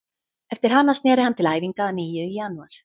Eftir hana snéri hann til æfinga að nýju í janúar.